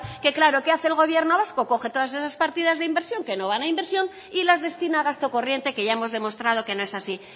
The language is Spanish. que claro qué hace el gobierno vasco coge todas esas partidas de inversión que no van a inversión y las destina a gasto corriente que ya hemos demostrado que no es así